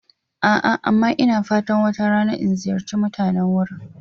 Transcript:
A'a, amma ina fatan wata rana in ziyarci mutanen wurin.